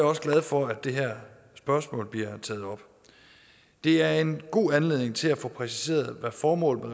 også glad for at det her spørgsmål bliver taget op det er en god anledning til at få præciseret hvad formålet